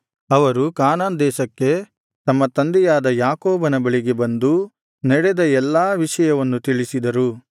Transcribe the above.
ಅವರು ಕಾನಾನ್ ದೇಶಕ್ಕೆ ತಮ್ಮ ತಂದೆಯಾದ ಯಾಕೋಬನ ಬಳಿಗೆ ಬಂದು ನಡೆದ ಎಲ್ಲ ವಿಷಯವನ್ನು ತಿಳಿಸಿದರು